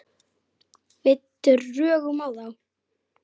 Við drögum á þá.